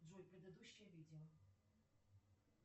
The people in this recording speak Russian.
джой предыдущее видео